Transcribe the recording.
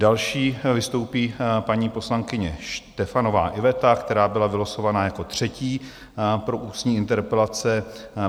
Další vystoupí paní poslankyně Štefanová Iveta, která byla vylosována jako třetí pro ústní interpelace.